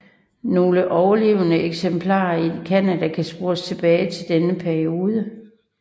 Nogle overlevende eksemplarer i Canada kan spores tilbage til denne periode